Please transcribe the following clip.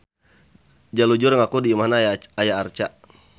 Jalujur ngaku di imahna aya arca.